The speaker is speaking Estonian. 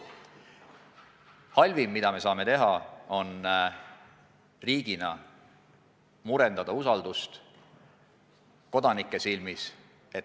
Halvim, mida me saame riigina teha, on murendada usaldust kodanike silmis.